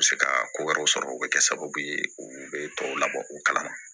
U bɛ se ka ko wɛrɛw sɔrɔ o bɛ kɛ sababu ye u bɛ tɔw labɔ u kalama